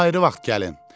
Ayrı vaxt gəlin.